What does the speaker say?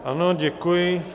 Ano, děkuji.